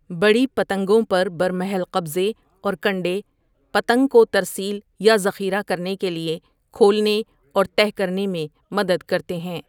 بڑی پتنگوں پر برمحل قبضے اور کنڈے، پتنگ کو ترسیل یا ذخیرہ کرنے کے لیے کھولنے اور تہہ کرنے میں مدد کرتے ہیں۔